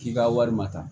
K'i ka wari ma ta